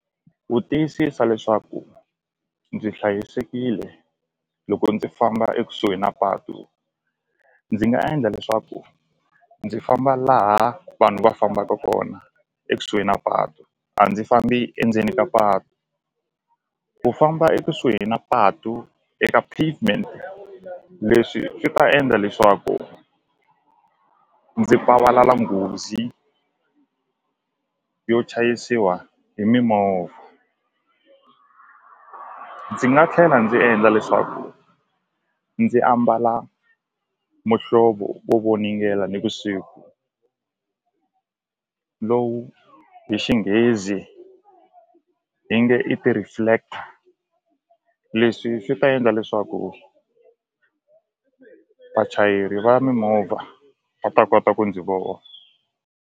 Ku tiyisisa leswaku ndzi hlayisekile loko ndzi famba ekusuhi na patu ndzi nga endla leswaku ndzi famba laha vanhu va fambaka kona ekusuhi na patu a ndzi fambi endzeni ka patu ku famba ekusuhi na patu eka pavement leswi swi ta endla leswaku ndzi nghozi yo chayisiwa hi mimovha ndzi nga tlhela ndzi endla leswaku ndzi ambala muhlovo wo voningela nivusiku lowu hi Xinghezi hi nge i ti-reflector leswi swi ta endla leswaku vachayeri va mimovha va ta kota ku ndzi .